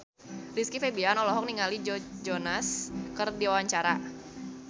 Rizky Febian olohok ningali Joe Jonas keur diwawancara